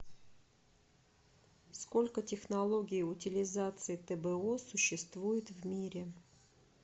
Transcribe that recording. сколько технологий утилизации тбо существует в мире